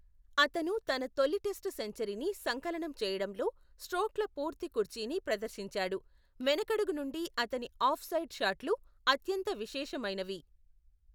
అతను తన తొలి టెస్ట్ సెంచరీని సంకలనం చేయడంలో స్ట్రోక్ల పూర్తి కుర్చీని ప్రదర్శించాడు, వెనుకడుగు నుండి అతని ఆఫ్ సైడ్ షాట్లు అత్యంత విశేషమైనవి.